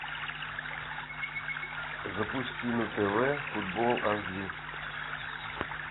запусти на тв футбол аш ди